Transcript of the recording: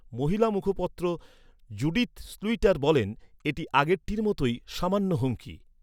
মহিলা মুখপাত্র Judith Sluiter বলেন, "এটি আগেরটির মতোই, সামান্য হুমকি।"